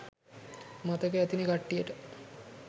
මතක ඇතිනේ කට්ටියට